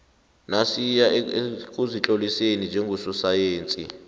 nasiya ekuzitloliseni njengososayensi